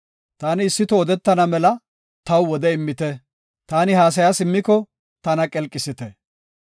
Taani issi toho odetana mela taw wode immite; taani haasaya simmiko tana qelqisite.